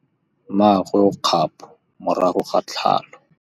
Mmagwe o kgapô morago ga tlhalô.